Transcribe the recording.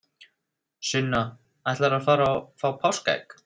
Sunna: Ætlarðu að fara og fá páskaegg?